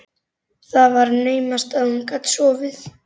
Það var naumast að hún gat sofið.